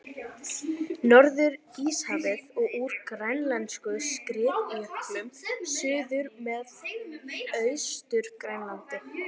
Norður-Íshafinu og úr grænlensku skriðjöklunum suður með Austur-Grænlandi.